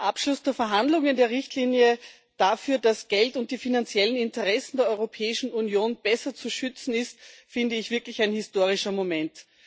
Der Abschluss der Verhandlungen der Richtlinie darüber, dass Geld und die finanziellen Interessen der Europäischen Union besser zu schützen sind, ist finde ich wirklich ein historischer Moment.